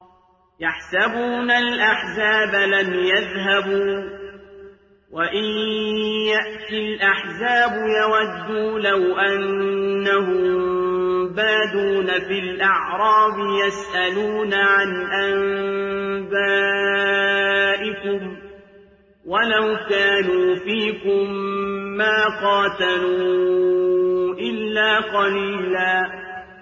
يَحْسَبُونَ الْأَحْزَابَ لَمْ يَذْهَبُوا ۖ وَإِن يَأْتِ الْأَحْزَابُ يَوَدُّوا لَوْ أَنَّهُم بَادُونَ فِي الْأَعْرَابِ يَسْأَلُونَ عَنْ أَنبَائِكُمْ ۖ وَلَوْ كَانُوا فِيكُم مَّا قَاتَلُوا إِلَّا قَلِيلًا